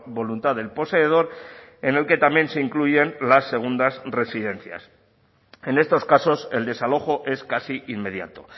voluntad del poseedor en el que también se incluyen las segundas residencias en estos casos el desalojo es casi inmediato